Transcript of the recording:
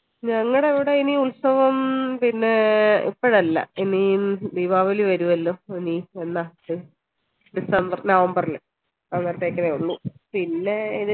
ഞങ്ങളവിടെ ഇനി ഉത്സവം പിന്നെ ഇപ്പഴല്ല ഇനി ഹും ദീപാവലി വരുഅല്ലോ ഇനി അന്നാ december november ൽ അന്നത്തേക്കേ ഉള്ളു പിന്നെ